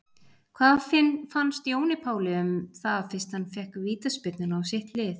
Hvað fannst Jóni Páli þá um það fyrst hann fékk vítaspyrnuna á sitt lið?